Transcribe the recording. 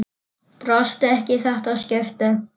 Brosti ekki í þetta skipti.